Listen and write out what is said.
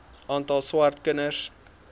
aantal swart kinders